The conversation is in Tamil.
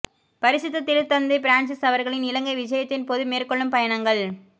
பரிசுத்த திருத்தந்தை பிரான்சிஸ் அவர்களின் இலங்கை விஜயத்தின் போது மேற்கொள்ளும் பயணங்கள்